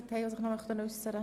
– Dies ist nicht der Fall.